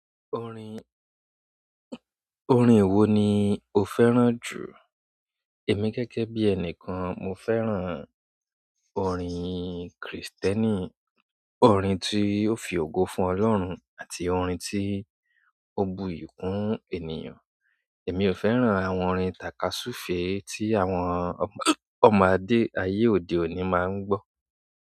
Orin, orin wo ni o fẹ́ràn jù? Èmi gẹ́gẹ́ bí ẹni kan, mo fẹ́ràn orin Kristẹni, orin tí ó fi ògo fún Ọlọ́run àti orin tí ó bu iyì kún ènìyàn. Èmi ò fẹ́ràn àwọn orin tàkasúfèé tí àwọn ọmọ adé ayé òde òni máa ń gbọ́.